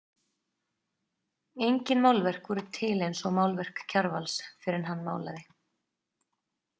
Engin málverk voru til eins og málverk Kjarvals fyrr en hann málaði.